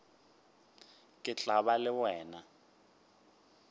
ke tla ba le wena